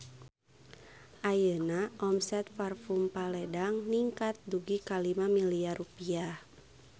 Ayeuna omset Parfume Paledang ningkat dugi ka 5 miliar rupiah